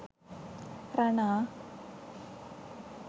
rana